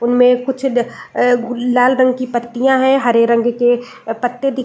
इनमे कुछ द लाल रंग की पत्तियां है हरे रंग के पत्ते --